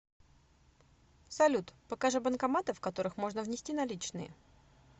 салют покажи банкоматы в которых можно внести наличные